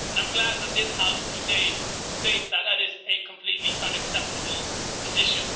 I am glad that this House today states that that is a completely unacceptable position.